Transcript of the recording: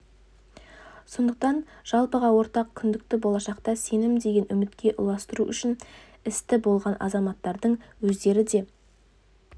сондықтан жалпыға ортақ күдікті болашақта сенім деген үмітке ұластыру үшін істі болған азматтардың өздері де